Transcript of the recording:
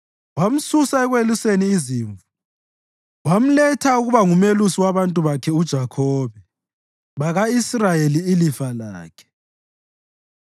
wamsusa ekweluseni izimvu wamletha ukuba ngumelusi wabantu bakhe uJakhobe, baka-Israyeli ilifa lakhe.